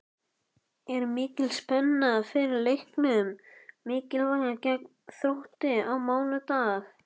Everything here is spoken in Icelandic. Er mikil spenna fyrir leiknum mikilvæga gegn Þrótti á mánudag?